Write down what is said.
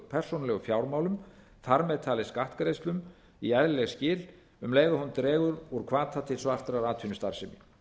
persónulegum fjármálum þar með talið skattgreiðslum í eðlileg skil um leið og hún dregur úr hvata til svartrar atvinnustarfsemi